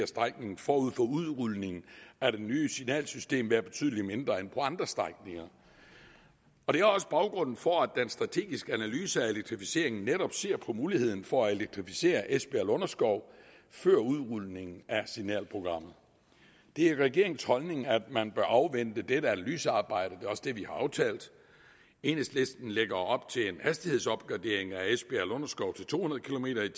strækningen forud for udrulningen af det nye signalsystem være betydelig mindre end på andre strækninger det er også baggrunden for at den strategiske analyse af elektrificeringen netop ser på muligheden for at elektrificere esbjerg lunderskov før udrulningen af signalprogrammet det er regeringens holdning at man bør afvente dette analysearbejde og det er også det vi har aftalt enhedslisten lægger op til en hastighedsopgradering af esbjerg lunderskov til to hundrede kilometer